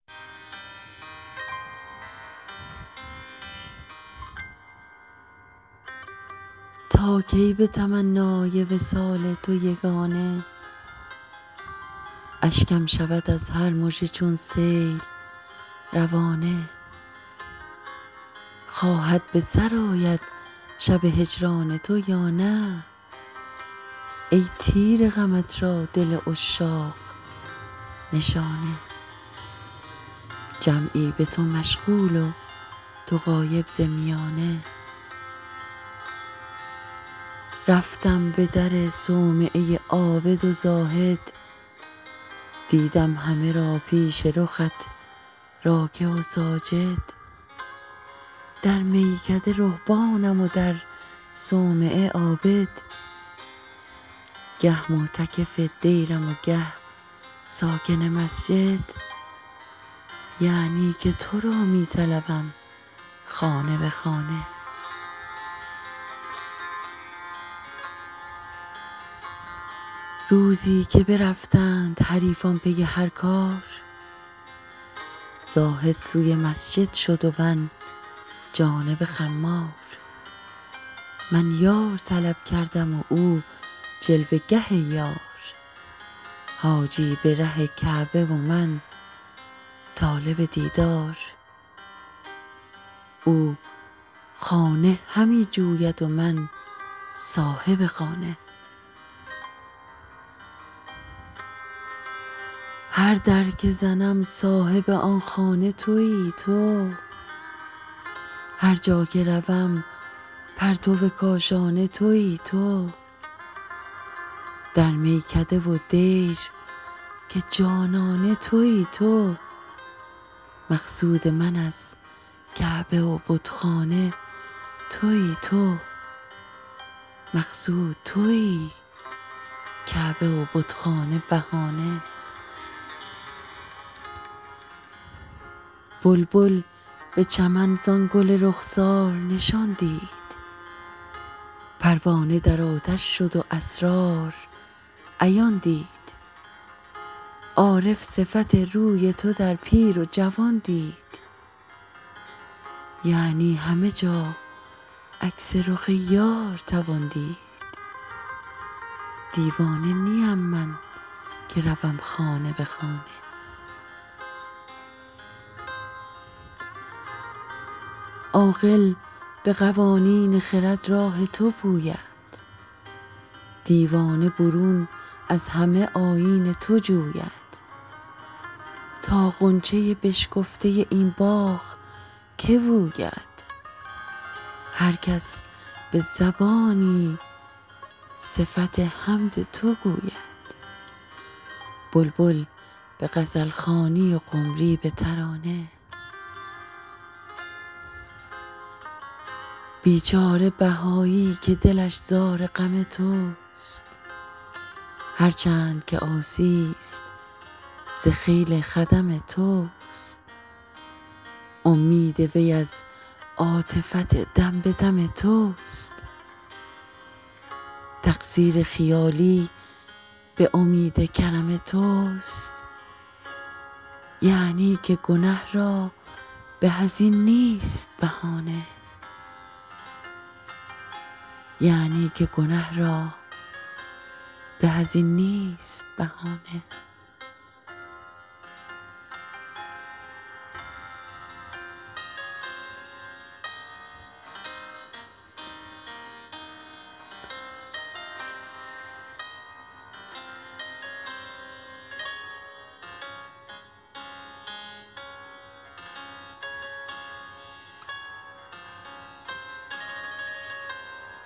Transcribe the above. تا کی به تمنای وصال تو یگانه اشکم شود از هر مژه چون سیل روانه خواهد به سر آید شب هجران تو یا نه ای تیر غمت را دل عشاق نشانه جمعی به تو مشغول و تو غایب ز میانه رفتم به در صومعه عابد و زاهد دیدم همه را پیش رخت راکع و ساجد در میکده رهبانم و در صومعه عابد گه معتکف دیرم و گه ساکن مسجد یعنی که تو را می طلبم خانه به خانه روزی که برفتند حریفان پی هر کار زاهد سوی مسجد شد و من جانب خمار من یار طلب کردم و او جلوه گه یار حاجی به ره کعبه و من طالب دیدار او خانه همی جوید و من صاحب خانه هر در که زنم صاحب آن خانه تویی تو هرجا که روم پرتو کاشانه تویی تو در میکده و دیر که جانانه تویی تو مقصود من از کعبه و بتخانه تویی تو مقصود تویی کعبه و بتخانه بهانه بلبل به چمن زان گل رخسار نشان دید پروانه در آتش شد و اسرار عیان دید عارف صفت روی تو در پیر و جوان دید یعنی همه جا عکس رخ یار توان دید دیوانه نیم من که روم خانه به خانه عاقل به قوانین خرد راه تو پوید دیوانه برون از همه آیین تو جوید تا غنچه بشکفته این باغ که بوید هرکس به زبانی صفت حمد تو گوید بلبل به غزلخوانی و قمری به ترانه بیچاره بهایی که دلش زار غم توست هرچند که عاصی است ز خیل خدم توست امید وی از عاطفت دم به دم توست تقصیر خیالی به امید کرم توست یعنی که گنه را به از این نیست بهانه